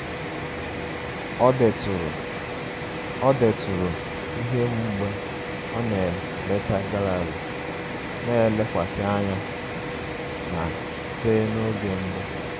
O deturu O deturu ihe mgbe ọ na-eleta gallery na-elekwasị anya na te n'oge mbụ